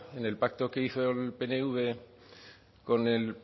en el pacto que hizo el pnv con el